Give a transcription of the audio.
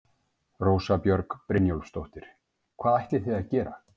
Rósa Björg Brynjólfsdóttir: Hvað ætlið þið að gera?